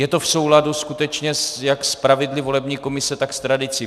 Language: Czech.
Je to v souladu skutečně jak s pravidly volební komise, tak s tradicí.